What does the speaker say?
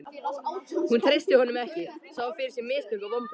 Hún treysti honum ekki, sá fyrir sér mistök og vonbrigði.